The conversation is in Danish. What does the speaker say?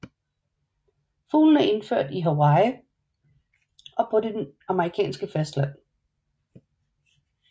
Fuglen er indført i Hawaii og på det amerikanske fastland